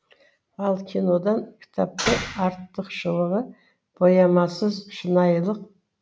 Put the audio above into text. ал кинодан кітаптың артықшылығы боямасыз шынайылық